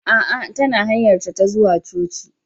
Aa, tana hanyarta ta zuwa cocin